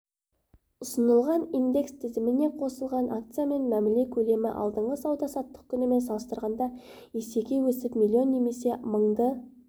ұсынылған индекс тізіміне қосылған акциямен мәміле көлемі алдыңғы сауда-саттық күнімен салыстырғанда есеге өсіп млн немесе мыңды